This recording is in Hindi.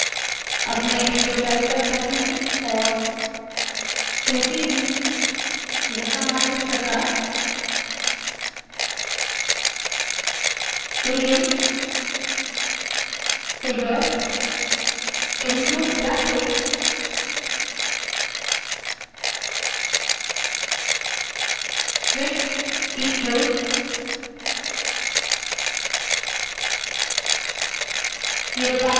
अब में इसके तल पर जाती हूँ और कहती हूँ यह कमांड इस प्रकार है begin figure include graphics width equals